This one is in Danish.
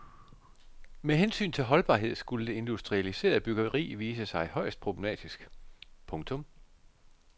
Med hensyn til holdbarhed skulle det industrialiserede byggeri vise sig højst problematisk. punktum